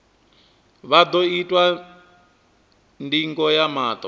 vha ḓo itwa ndingo ya maṱo